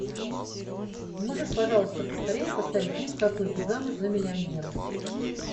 можешь пожалуйста поскорее поставить фильм как выйти замуж за миллионера